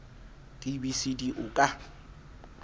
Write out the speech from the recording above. b c d o ka